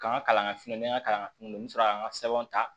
K'an ka kalan ŋini ka kalan ŋunu n sɔrɔ an ka sɛbɛnw ta